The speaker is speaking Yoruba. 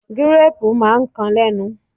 Gírápù máa ń kan lénu.